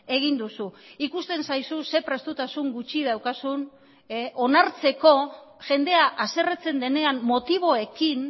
egin duzu ikusten zaizu ze prestutasun gutxi daukazun onartzeko jendea haserretzen denean motiboekin